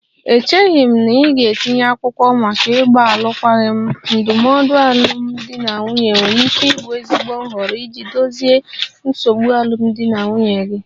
Echeghị m na ị ga-etinye akwụkwọ maka ịgba alụkwaghịm, ndụmọdụ alụmdi na nwunye nwere ike ịbụ ezigbo nhọrọ iji dozie nsogbu alụmdi na nwunye gị